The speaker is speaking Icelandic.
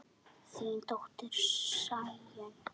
Þín dóttir, Sæunn.